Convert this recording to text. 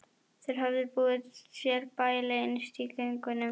Þeir höfðu búið sér bæli innst í göngunum.